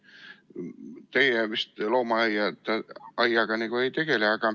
Teie vist loomaaiaga ei tegele.